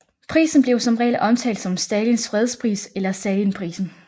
Prisen blev som regel omtalt som Stalins fredspris eller Stalinprisen